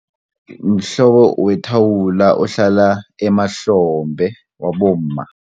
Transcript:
Mhlobo wethawula ohlala emahlombe wabomma.